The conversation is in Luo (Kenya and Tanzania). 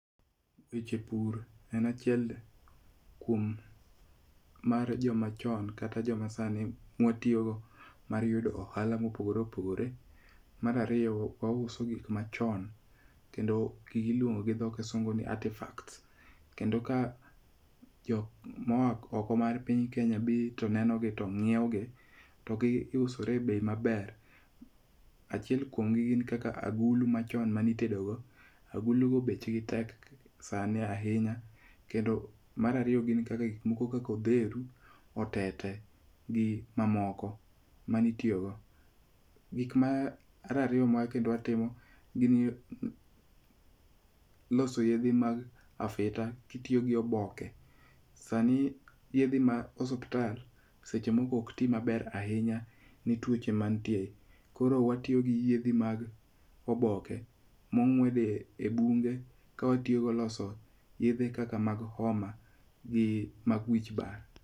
Weche pur en achiel kuom mar joma chon kata joma sani ma watiyogo mar yudo ohala mopogore opogore. Mar ariyo wa uso gik machon. Kendo gigi iluongo gi dho kisungu ni artefacts. Kendo ka jok moa oko mar pinya Kenya dhi to nenogi no ng'iew gi to gi usore e bei maber. Achiel kuom gi gin kaka agulu machon manitedogo. Agulu go bech gi tek sani ahinya. Kendo mar ariyo gin kaka gik moko kaka odheru, otete gi mamoko manitiyogo. Gik mar ariyo ma kendo watimo gi loso yethe mag afita kitiyo gi oboke. Sani yethe mag osuptal seche moko ok ti maber ahinya nituoche mantie. Koro watiyo gi yedhi mag oboke mong'wed e bunge ka watiyogo loso yedhe kaka mag homa gi mag wich bar.